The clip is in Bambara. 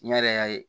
N yɛrɛ y'a ye